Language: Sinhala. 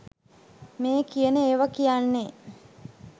මේ කියන ඒවා කියන්නේ.